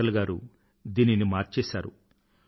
అటల్ గారు దీనిని మార్చేసారు